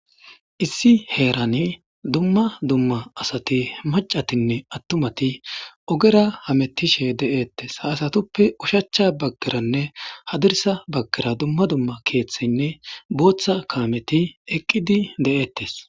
Issi heerani dumma dumma asati macatinne attumati ogera hamettishe de7eettes haasatuppe ushachcha baggeranne hadirsa baggira dumma dumma keeththinne booththa kaameti eqqidi de7eettes.